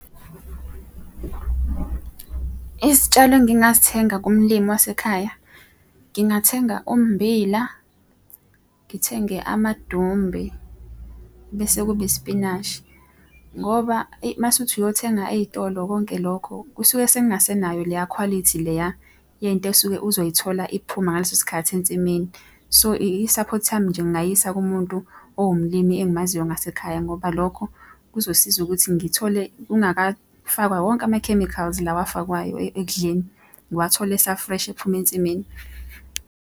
Izitshalo engingazithenga kumlimi wasekhaya, ngingathenga ummbila, ngithenge amadumbe bese kuba isipinashi. Ngoba eyi uma usuthi uyothenga ey'tolo konke lokho kusuke sekungasenayo leya khwalithi leya yento osuke uzoyithola iphuma ngaleso sikhathi ensimini. So, I-support yami nje ngingayisa kumuntu owumlimi engimaziyo ngasekhaya ngoba lokho kuzosiza ukuthi ngithole kungafakwa wonke ama-chemicals lawa afakwayo ekudleni. Ngiwathole esa-fresh ephuma ensimini.